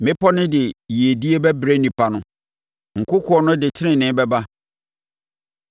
Mmepɔ no de yiedie bɛbrɛ nnipa no, nkokoɔ no de tenenee bɛba.